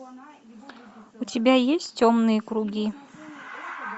у тебя есть темные круги